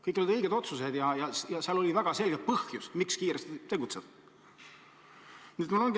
Kõik need olid õiged otsused ja tookord oli väga selge põhjus, miks tuli kiiresti tegutseda.